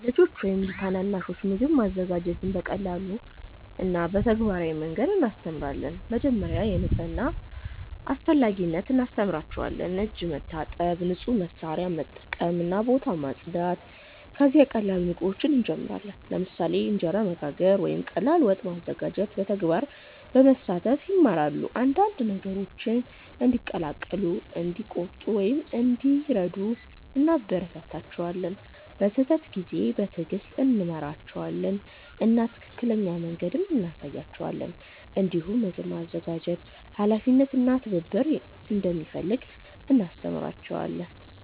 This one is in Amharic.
ለልጆች ወይም ታናናሾች ምግብ ማዘጋጀትን በቀላል እና በተግባራዊ መንገድ እናስተምራለን። መጀመሪያ የንጽህና አስፈላጊነት እናስተምራቸዋለን፤ እጅ መታጠብ፣ ንጹህ መሳሪያ መጠቀም እና ቦታ ማጽዳት። ከዚያ ቀላል ምግቦችን እንጀምራለን፣ ለምሳሌ እንጀራ መጋገር ወይም ቀላል ወጥ ማዘጋጀት። በተግባር በመሳተፍ ይማራሉ፤ አንዳንድ ነገሮችን እንዲቀላቀሉ፣ እንዲቆርጡ ወይም እንዲረዱ እናበረታታቸዋለን። በስህተት ጊዜ በትዕግስት እንመራቸዋለን እና ትክክለኛ መንገድ እንሳያቸዋለን። እንዲሁም ምግብ ማዘጋጀት ኃላፊነት እና ትብብር እንደሚፈልግ እናስተምራቸዋለን።